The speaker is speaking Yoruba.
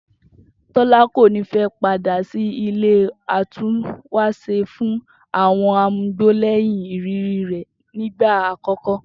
Tó̩lá kò ní fé̩ padà sí ilé atúnwàs̩e fún àwo̩n amugbó lé̩yìn ìrírí rè̩ nígbà àkó̩kó̩